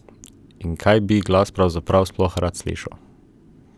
In kaj bi glas pravzaprav sploh rad slišal?